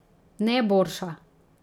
Ne borša.